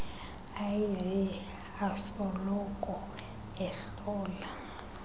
iv asoloko ehlola